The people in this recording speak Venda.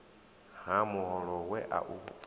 ha muholo we a u